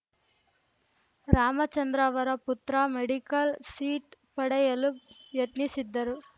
ರಾಮಚಂದ್ರ ಅವರ ಪುತ್ರ medical seat ಪಡೆಯಲು ಯತ್ನಿಸಿದ್ದರು